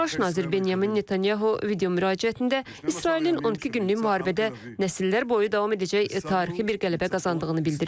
Baş nazir Benyamin Netanyahu videomüraciətində İsrailin 12 günlük müharibədə nəsillər boyu davam edəcək tarixi bir qələbə qazandığını bildirib.